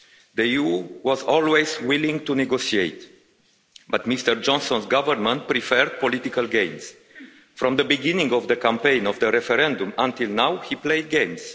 The EU was always willing to negotiate, but Mr Johnson's government preferred political games. From the beginning of the campaign of the referendum, until now, he played games.